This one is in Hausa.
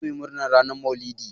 Zamuyi murna ranar Maulidi.